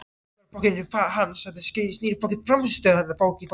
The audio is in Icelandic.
Þetta snýst ekki bara um hans frammistöðu.